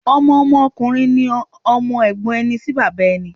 Ọmọ Ọmọ ọkùnrin ni Ọmọ Ègbón ẹni sí bàbá ẹni